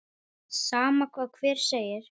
Sama hvað hver segir.